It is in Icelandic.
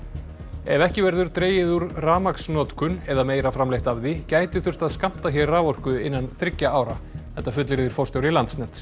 ef ekki verður dregið úr rafmagnsnotkun eða meira framleitt af því gæti þurft að skammta hér raforku innan þriggja ára þetta fullyrðir forstjóri Landsnets